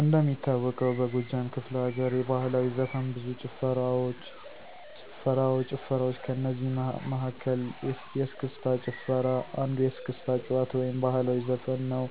እንደሚታወቀው በጎጃም ክፍለ ለገርየባህላዊ ዘፈን ብዙ ጭፈራዋ ጭፈራዋች ከእነዚህ መለ መሀከል የስክስታጭፈራ አንዱየስክስታ ጭዋታ ወይም ባህልዊ ዘፈንነዉ።